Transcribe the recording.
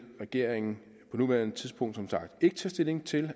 regeringen på nuværende tidspunkt som sagt ikke tage stilling til